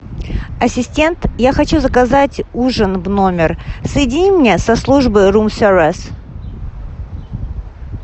ассистент я хочу заказать ужин в номер соедини меня со службой рум сервис